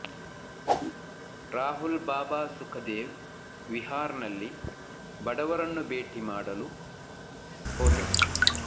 ರಾಹುಲ್ ಬಾಬಾ ಸುಖದೇವ್ ವಿಹಾರ್ನಲ್ಲಿ ಬಡವರನ್ನು ಭೇಟಿ ಮಾಡಲು ಹೋದರು